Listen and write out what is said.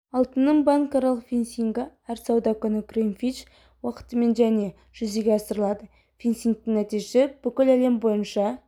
алтынның банкаралық фиксингі әр сауда күні гринвич уақытымен және жүзеге асырылады фиксингтің нәтижесі бүкіл әлем бойынша